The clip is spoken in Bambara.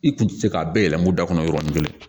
I kun tɛ se k'a bɛɛ yɛlɛm'u da kɔnɔ yɔrɔnin kelen